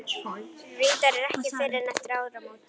Reyndar ekki fyrr en eftir áramót.